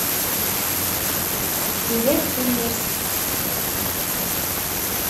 билет фуллерс